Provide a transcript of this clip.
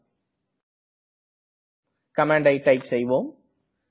இங்கே கமண்ட்டை டைப் செய்வோம்